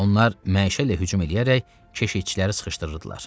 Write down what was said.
Onlar məşəllə hücum eləyərək keşitçiləri sıxışdırırdılar.